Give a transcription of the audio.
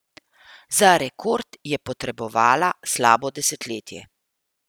Za rekord je potrebovala slabo desetletje.